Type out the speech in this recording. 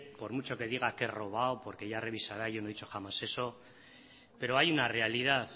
por mucho que diga que he robado porque ya revisará yo no he dicho jamás eso pero hay una realidad